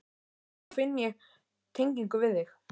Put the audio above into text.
Þá finn ég tengingu við þig.